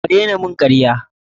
A daina karya mun!